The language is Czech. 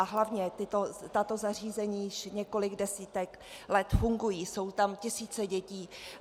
A hlavně, tato zařízení již několik desítek let fungují, jsou tam tisíce dětí.